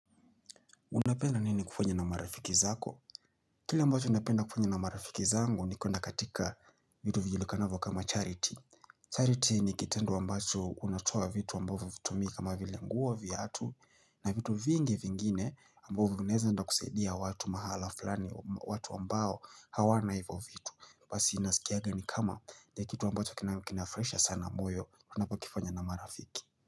Unapenda nini kufanya na marafiki zako? Kile ambacho unapenda kufanya na marafiki zangu nikoena katika vitu vijulikanavyo kama charity. Charity ni kitendo ambacho unatoa vitu wambavu vitumi kama vile nguo vya hatu na vitu vingi vingine ambavu unaeza nda kusaidia watu mahala fulani watu ambao hawana hivyo vitu. Basi inasikiaga ni kama ya kitu ambacho kinamikina fresha sana mboyo unapokifanya na marafiki.